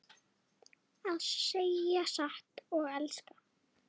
Að segja satt og elska